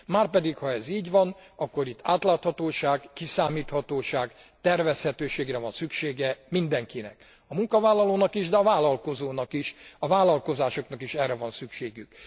Márpedig ha ez így van, akkor itt átláthatóságra, kiszámíthatóságra, tervezhetőségre van szüksége mindenkinek, a munkavállalónak is, de a vállalkozónak is, a vállalkozásoknak is erre van szükségük.